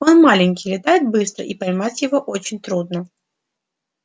он маленький летает быстро и поймать его очень трудно